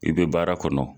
I bɛ baara kɔnɔ